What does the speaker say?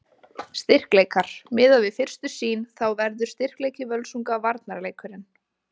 Styrkleikar: Miðað við fyrstu sýn þá verður styrkleiki Völsunga varnarleikurinn.